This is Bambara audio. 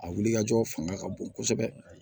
A wulikajɔ fanga ka bon kosɛbɛ